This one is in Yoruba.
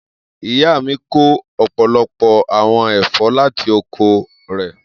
Iya mi ko ọpọlọpọ awọn ẹfọ lati oko rẹ